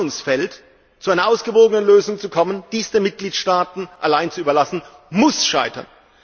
In diesem Spannungsfeld zu einer ausgewogenen Lösung zu kommen, dies den Mitgliedstaaten allein zu überlassen, muss scheitern.